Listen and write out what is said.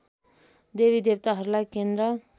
देवी देवताहरूलाई केन्द्र